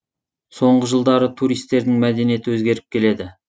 соңғы жылдары туристердің мәдениеті өзгеріп келеді